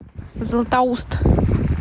златоуст